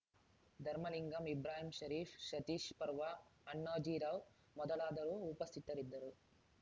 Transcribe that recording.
ಧರ್ಮಲಿಂಗಮ್‌ ಇಬ್ರಾಹಿಂ ಷರೀಪ್‌ ಸತೀಶ್‌ ಪರ್ವಾ ಅಣ್ಣಾಜಿರಾವ್‌ ಮೊದಲಾದವರು ಉಪಸ್ಥಿತರಿದ್ದರು